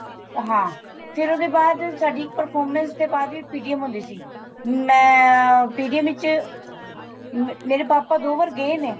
ਹਾਂ ਫੇਰ ਉਹਦੇ ਬਾਅਦ ਸਾਡੀ performance ਦੇ ਬਾਅਦ ਵੀ PTM ਹੁੰਦੀ ਸੀ ਮੈਂ PTM ਵਿੱਚ ਮੇਰੇ ਪਾਪਾ ਦੋ ਵਾਰ ਗਏ ਨੇ